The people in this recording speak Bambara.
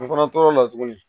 An fana tor'o la tuguni